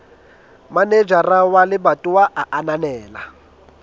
manejara wa lebatowa a ananela